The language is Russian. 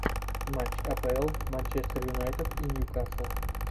матч апл манчестер юнайтед и ньюкасл